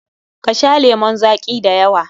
Ka sha lemun zaƙi da yawa!